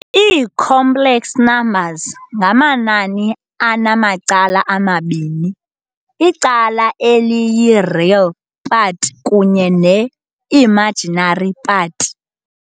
Ii-Complex numbers ngamanani anamacala amabini, icala eliyi- "real" part kunye ne-"imaginary" part.